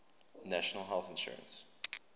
national health insurance